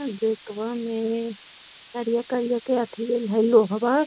gateway में करिया करिया के अथि देल हई लोहवा |